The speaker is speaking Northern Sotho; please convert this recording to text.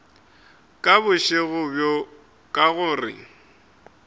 ka bošego bjo ka gore